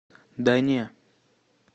да не